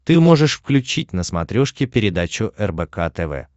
ты можешь включить на смотрешке передачу рбк тв